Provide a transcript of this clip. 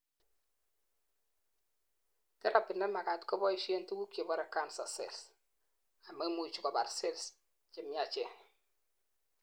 therapy nemagat kobaishen tuguk chebore cancer cells amaimuchi kobar cells chemiachen